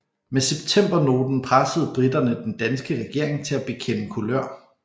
Med septembernoten pressede briterne den danske regering til at bekende kulør